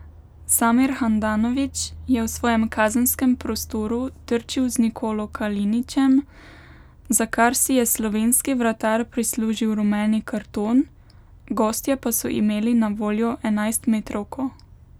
Samir Handanović je v svojem kazenskem prostoru trčil z Nikolo Kalinićem, za kar si je slovenski vratar prislužil rumeni karton, gostje pa so imeli na voljo enajstmetrovko.